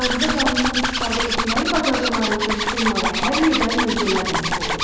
Cazibə qanunundan istifadə etməyi bacardıqları üçün onlara hər yerdə möcüzələr nəsib olur.